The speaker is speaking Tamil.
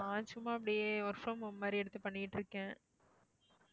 நான் சும்மா அப்படியே work from home மாதிரி எடுத்து பண்ணிட்டிருக்கேன்.